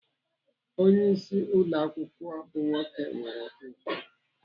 Onyeisi ụlọ akwụkwọ bụ nwoke nwere ùgwù.